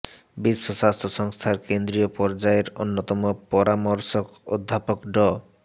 বিশ্ব স্বাস্থ্য সংস্থার কেন্দ্রীয় পর্যায়ের অন্যতম পরামর্শক অধ্যাপক ড